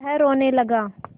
वह रोने लगा